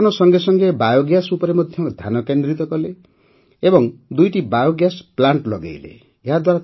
ସେ ଗୋପାଳନ ସଙ୍ଗେ ସଙ୍ଗେ ବାୟୋଗ୍ୟାସ୍ ଉପରେ ମଧ୍ୟ ଧ୍ୟାନକେନ୍ଦ୍ରିତ କଲେ ଏବଂ ଦୁଇଟି ବାୟୋଗ୍ୟାସ୍ ପ୍ଲାଣ୍ଟ ଲଗାଇଲେ